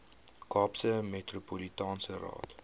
kaapse metropolitaanse raad